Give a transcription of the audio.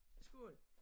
Skål